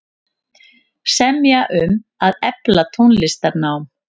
Semja um að efla tónlistarnám